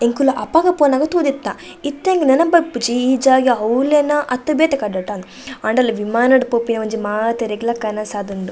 ಎಂಕುಲು ಅಪಗ ಪೋನಗ ತೂದಿತ್ತ ಇತ್ತೆ ಅಂಕ್ ನೆನಪ್ ಬರ್ಪುಜಿ ಈ ಜಾಗ ಅವ್ಲೆನ ಅತ್ತ ಬೇತೆ ಕಡೆಟ ಅಂದ್ ಆಂಡಲ ವಿಮಾನಡ್ ಪೋಪಿನ ಒಂಜಿ ಮಾತೆರೆಗ್ಲ ಒಂಜಿ ಕನಸ್ ಆದ್ ಉಂಡು .